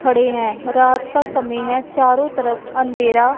खड़े हैं रात का समय है चारों तरफ अंधेरा--